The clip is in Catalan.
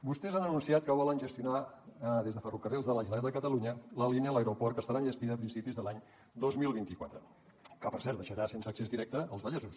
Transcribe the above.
vostès han anunciat que volen gestionar des de ferrocarrils de la generalitat de catalunya la línia a l’aeroport que estarà enllestida a principis de l’any dos mil vint quatre que per cert deixarà sense accés directe els vallesos